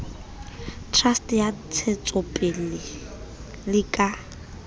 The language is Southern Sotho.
trust ya ntsahetsopele le ka